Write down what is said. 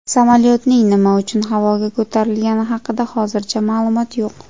Samolyotning nima uchun havoga ko‘tarilgani haqida hozircha ma’lumot yo‘q.